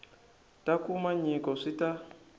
ta kuma nyiko swi ta